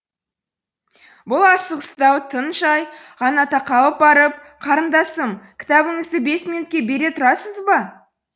бұл асығыстау тын жай ғана тақалып барып қарындасым кітабыңызды бес минутке бере тұрасыз ба